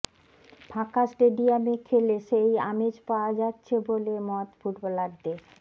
ফাঁকা স্টেডিয়ামে খেলে সেই আমেজ পাওয়া য়াচ্ছে বলে মত ফুটবলারদের